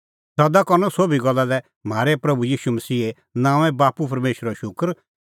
सदा करनअ सोभी गल्ला लै म्हारै प्रभू ईशू मसीहे नांओंऐं बाप्पू परमेशरो शूकर